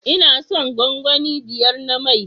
Ina son gwangwani biyar na mai